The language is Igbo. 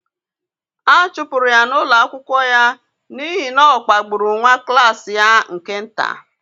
a chụpụrụ ya n’ụlọ akwụkwọ ya n’ihi na ọ kpagburu nwa klas ya nke nta.